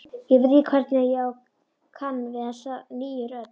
Ég veit ekki hvernig ég kann við þessa nýju rödd.